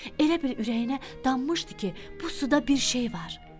Elə bil ürəyinə dammışdı ki, bu suda bir şey var.